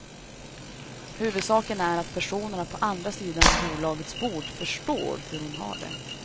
Huvudsaken är att personen på andra sidan bolagets bord förstår hur hon har det.